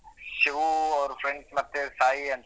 ಶಿವು ಅವ್ರ್ friends ಸಾಯಿ ಅಂತಾ.